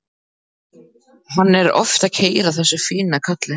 Hann er oft að keyra þessa fínu kalla.